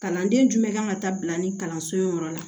Kalanden jumɛn kan ka ta bila ni kalanso in yɔrɔ la